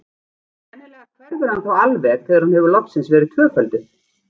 Sennilega hverfur hann þá alveg þegar hún hefur loksins verið tvöfölduð.